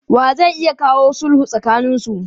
Wa zai iya kawo sulhu tsakaninsu?